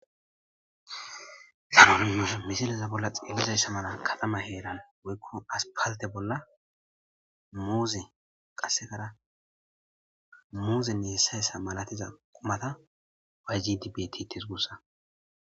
Haysa misileza bolla xillizay samana kalama heeran woykko aspalte bolla muuze qassekara muuzenne hessayssa malatiza qumata wa gidibtitis gussa